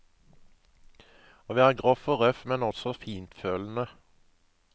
Å være grov og røff, men også fintfølende.